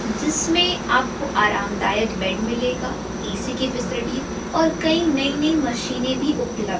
जिसमें आपको आरामदायक बेड मिलेगा ए_सी की फैसिलिटी और कई नई नई मशीनें भी उपलब्ध--